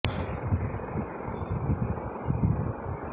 ACI মোটরসের ব্যবস্থাপনা পরিচালক ও প্রধান নির্বাহী কর্মকর্তা ড